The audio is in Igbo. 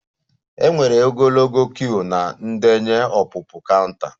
E nwere ogologo queue na ndenye ọpụpụ counter